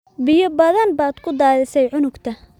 Biyo badan baad ku daadisay cuntada